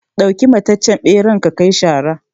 ɗauki mataccen ɓeran ka kai shara